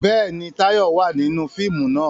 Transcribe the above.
Bẹ́ẹ̀ni, Táyọ̀ wà nínú fíìmù náà